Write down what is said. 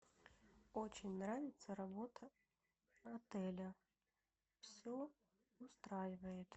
очень нравится работа отеля все устраивает